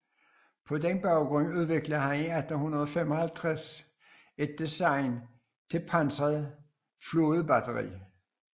På den baggrund udviklede han i 1855 et design til pansret flådebatteri